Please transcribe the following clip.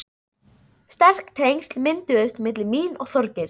Sterk tengsl mynduðust milli mín og Þorgeirs.